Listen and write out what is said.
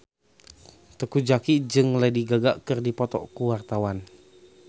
Teuku Zacky jeung Lady Gaga keur dipoto ku wartawan